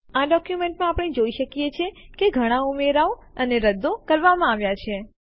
આ ડોક્યુમેન્ટમાં આપણે જોઈ શકીએ છીએ કે ઘણા ઉમેરાઓ અને રદ્દો કરવામાં આવ્યા છે